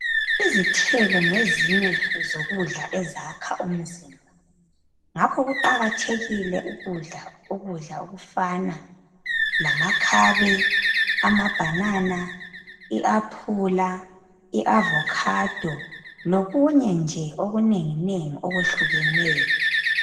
Izithelo ngezinye zokudla ezakha umzimba. Ngakho kuqakathekile ukudla ukudla okufana lamakhabe, amabhanana, iaphula, iavokhado lokunye nje okunengi nengi okwehlukeneyo.